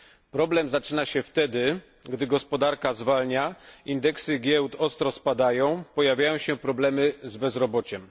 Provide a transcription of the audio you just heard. Problem zaczyna się wtedy, gdy gospodarka zwalnia, indeksy giełd ostro spadają, pojawiają się problemy z bezrobociem.